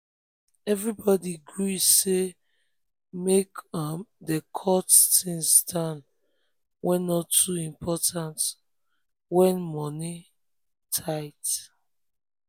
everybody gree say make um dem cut down things wey no too important when money money tight.